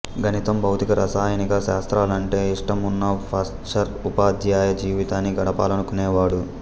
గణితం భౌతిక రసాయనిక శాస్త్రాలంటే ఇష్టమున్న పాశ్చర్ ఉపాధ్యాయ జీవితాన్ని గడపాలనుకొనేవాడు